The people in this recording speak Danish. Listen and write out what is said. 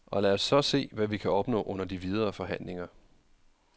Og lad os så se, hvad vi kan opnå under de videre forhandlinger.